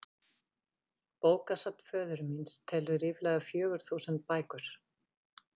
tap ef að yrði